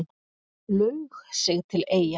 Laug sig til Eyja